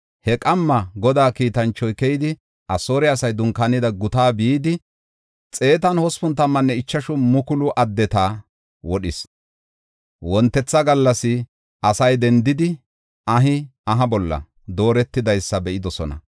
He qamma Godaa kiitanchoy keyidi, Asoore asay dunkaanida guta bidi, 185,000 addeta wodhis. Wontetha gallas asay dendidi ahi aha bolla dooretidaysa be7idosona.